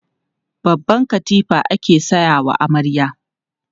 Babban katifa ake sayawa amarya.